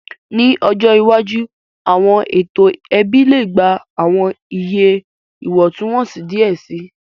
Ni ọjọ iwaju, awọn eto ẹbi le gba awọn iye iwọntunwọnsi diẹ sii,